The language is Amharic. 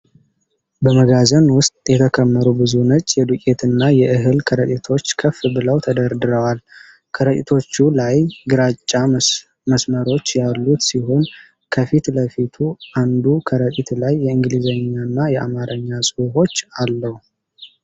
በመጋዘን ውስጥ የተከመሩ ብዙ ነጭ የዱቄትና የእህል ከረጢቶች ከፍ ብለው ተደረድረዋል። ከረጢቶቹ ላይ ግራጫ መስመሮች ያሉት ሲሆን፣ ከፊት ለፊት አንዱ ከረጢት ላይ የእንግሊዝኛና የአማርኛ ጽሑፎች አለው።